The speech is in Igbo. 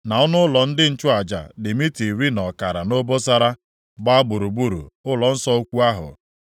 na ọnụụlọ ndị nchụaja dị mita iri na ọkara nʼobosara, gbaa gburugburu ụlọnsọ ukwu ahụ.